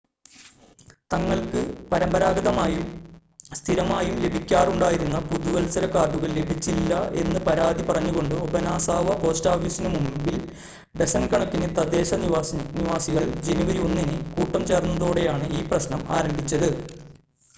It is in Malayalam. തങ്ങൾക്ക് പരമ്പരാഗതമായും സ്ഥിരമായും ലഭിക്കാറുണ്ടായിരുന്ന പുതുവത്സര കാർഡുകൾ ലഭിച്ചില്ല എന്ന് പരാതി പറഞ്ഞുകൊണ്ട് ഒബനാസവ പോസ്റ്റ് ഓഫീസിനു മുൻപിൽ ഡസൻ കണക്കിന് തദ്ദേശ നിവാസികൾ ജനുവരി 1 ന് കൂട്ടം ചേർന്നതോടെയാണ് ഈ പ്രശ്നം ആരംഭിച്ചത്